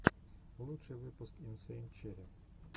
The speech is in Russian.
лучший выпуск инсейн черри